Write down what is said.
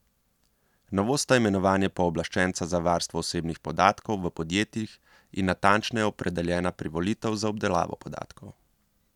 Novost sta imenovanje pooblaščenca za varstvo osebnih podatkov v podjetjih in natančneje opredeljena privolitev za obdelavo podatkov.